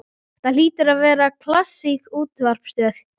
Þetta hlýtur að vera klassísk útvarpsstöð.